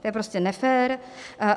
To je prostě nefér.